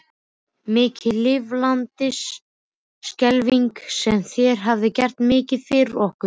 Mikið lifandis skelfing sem þér hafið gert mikið fyrir okkur.